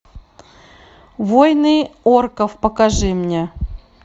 войны орков покажи мне